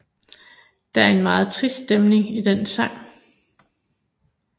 Der er en meget trist stemning i den sang